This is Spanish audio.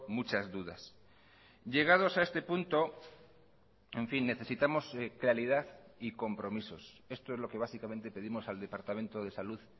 muchas dudas llegados a este punto en fin necesitamos claridad y compromisos esto es lo que básicamente pedimos al departamento de salud